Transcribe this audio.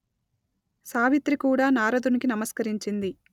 సావిత్రి కూడా నారదునికి నమస్కరించింది